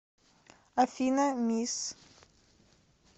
афина мисс